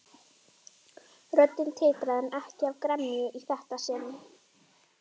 Röddin titraði en ekki af gremju í þetta sinn.